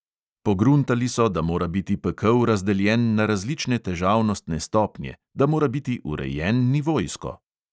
Pogruntali so, da mora biti pekel razdeljen na različne težavnostne stopnje, da mora biti urejen nivojsko.